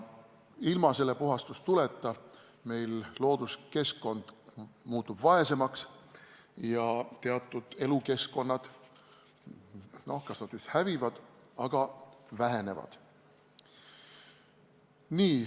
Ilma selle puhastuleta looduskeskkond muutub vaesemaks ja teatud elukeskkonnad kas just hävivad, aga vaesestuvad.